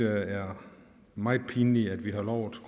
er meget pinligt at vi har lovet